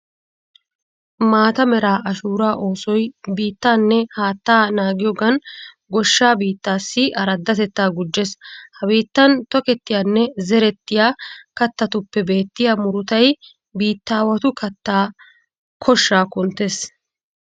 Maata mera ashuuraa oosoy biittaanne haattaa naagiyogan goshsha biittaassi araddatettaa gujjees. Ha biittan tokettiyanne zerettiya kattatuppe beettiya murutay biittaawatu kattaa koshshaa kunttees.